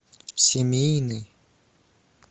семейный